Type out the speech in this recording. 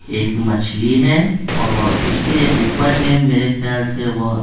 एक मछली है और उसके ऊपर में मेरे ख्याल से वो---